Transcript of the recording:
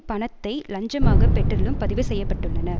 பணத்தை லஞ்சமாகப் பெற்றதிலும் பதிவு செய்ய பட்டுள்ளனர்